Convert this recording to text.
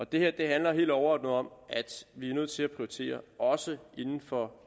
det her handler helt overordnet om at vi er nødt til at prioritere også inden for